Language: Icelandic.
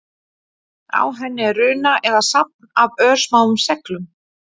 Á henni er runa eða safn af örsmáum seglum.